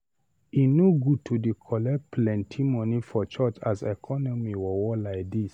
E no good to dey collect plenty moni for church as economy worwor lai dis.